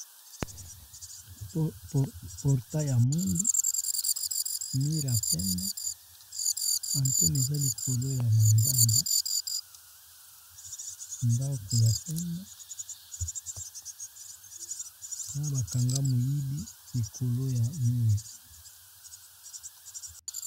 Portail ya mwindu mire ya pembe anten eza likolo ya manzanza ndako ya pembe na bakanga moyibi likolo ya mire.